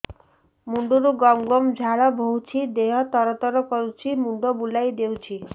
ମୁଣ୍ଡରୁ ଗମ ଗମ ଝାଳ ବହୁଛି ଦିହ ତର ତର କରୁଛି ମୁଣ୍ଡ ବୁଲାଇ ଦେଉଛି